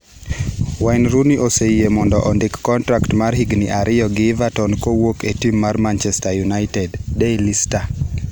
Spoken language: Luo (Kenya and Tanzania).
Wayne Rooney oseyie mondo ondik kontrak mar higni ariyo gi Everton kowuok e tim mar Manchester United (Daily Star).